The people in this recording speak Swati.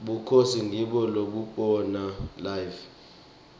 bukhosi ngibo lobuhola live